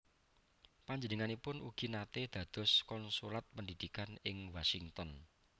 Panjenenganipun ugi naté dados Konsulat Pendidikan ing Washington